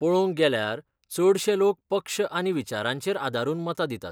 पळोवंक गेल्यार, चडशे लोक पक्ष आनी विचारांचेर आदारून मतां दितात.